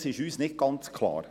Dies ist uns nicht ganz klar.